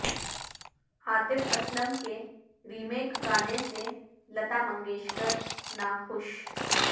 عاطف اسلم کے ریمیک گانے سے لتا منگیشکر ناخوش